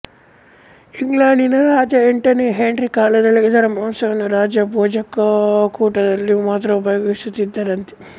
ಇಂಗ್ಲೆಂಡಿನ ರಾಜ ಎಂಟನೆಯ ಹೆನ್ರಿ ಕಾಲದಲ್ಲಿ ಇದರ ಮಾಂಸವನ್ನು ರಾಜಭೋಜನಕೂಟಗಳಲ್ಲಿ ಮಾತ್ರ ಉಪಯೋಗಿಸುತ್ತಿದ್ದರಂತೆ